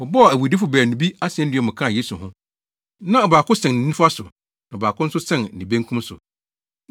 Wɔbɔɔ awudifo baanu bi asennua mu kaa Yesu ho. Na ɔbaako sɛn ne nifa so na ɔbaako nso dɛn ne benkum so.